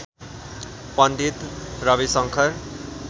Pandit Ravishankar